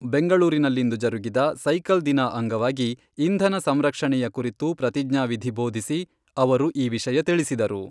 ಬೆಂಗಳೂರಿನಲ್ಲಿಂದು ಜರುಗಿದ ಸೈಕಲ್ ದಿನ ಅಂಗವಾಗಿ ಇಂಧನ ಸಂರಕ್ಷಣೆಯ ಕುರಿತು ಪ್ರತಿಜ್ಞಾವಿಧಿ ಬೋಧಿಸಿ, ಅವರು ಈ ವಿಷಯ ತಿಳಿಸಿದರು.